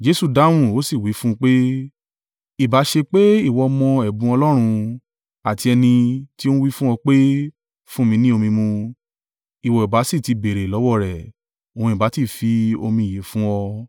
Jesu dáhùn, ó sì wí fún un pé, “Ìbá ṣe pé ìwọ mọ ẹ̀bùn Ọlọ́run, àti ẹni tí ó wí fún ọ pé, ‘Fún mi ni omi mu’, ìwọ ìbá sì ti béèrè lọ́wọ́ rẹ̀, òun ìbá ti fi omi ìyè fún ọ.”